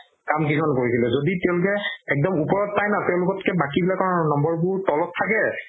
এনেকুৱা কান দিঘল কৰিছিলে যদি তেওলোকে একদম ওপৰত পাই ন তেওলোকতকে বাকিবিলাকৰ নম্বৰ বোৰ তলত থাকে